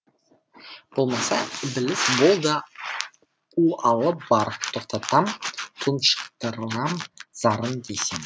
болмаса ібіліс бол да у алып бар тоқтатам тұншықтырам зарын десең